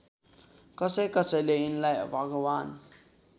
कसैकसैले यिनलाई भगवान्